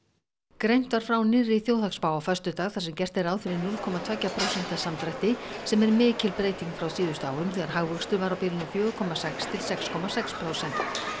greint var frá nýrri þjóðhagsspá á föstudag þar sem gert er ráð fyrir núll komma tveggja prósenta samdrætti sem er mikil breyting frá síðustu árum þegar hagvöxtur var á bilinu fjögurra komma sex til sex komma sex prósent